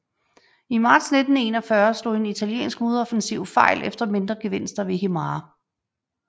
I marts 1941 slog en italiensk modoffensiv fejl efter mindre gevinster ved Himare